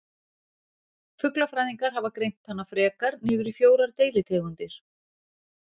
Fuglafræðingar hafa greint hana frekar niður í fjórar deilitegundir.